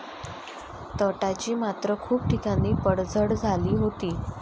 तटाची मात्र खूप ठिकाणी पडझड झाली होती.